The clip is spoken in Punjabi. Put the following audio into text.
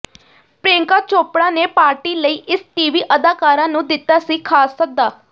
ਪ੍ਰਿਯੰਕਾ ਚੋਪੜਾ ਨੇ ਪਾਰਟੀ ਲਈ ਇਸ ਟੀਵੀ ਅਦਾਕਾਰਾ ਨੂੰ ਦਿੱਤਾ ਸੀ ਖਾਸ ਸੱਦਾ